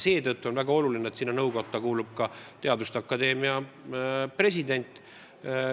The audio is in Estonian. Seetõttu on väga oluline, et sinna nõukotta kuulub ka Eesti Teaduste Akadeemia president.